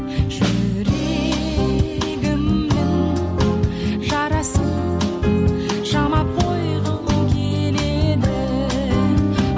жүрегімнің жарасын жамап қойғым келеді